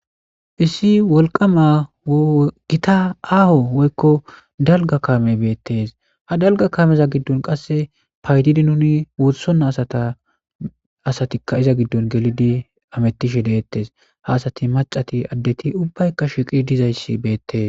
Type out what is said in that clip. issi wolqama gita aaho woykko dalga kame beettees ha dalga kameza giddon qasse paydidi nuni wotsona sata asatikka iza giddon gelidi amettishe deettes haasati macati addeti ubbaykka shiqi dizayssi beettes